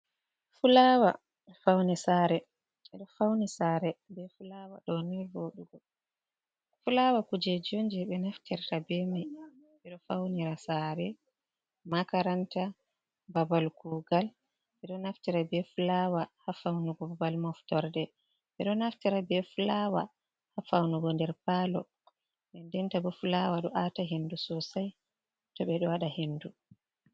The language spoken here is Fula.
Fulawa faune sara ɓeɗo faunira sare makaranta babal kugal, ɓeɗo naftira be fulawa ha faunugo babal moftorde, ɓeɗo naftira be fulawa ha faunugo nder palo dendenta bo fulawa do ata hendu sosai tow ɓeɗo wada hendu.